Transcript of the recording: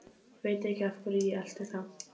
Veit ekki af hverju ég elti þá.